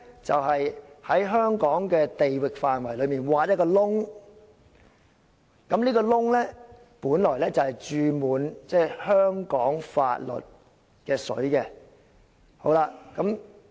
就是在香港的地域範圍內挖一個洞，而這個"洞"本來注滿香港法律的"水"。